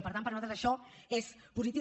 per tant per nosaltres això és positiu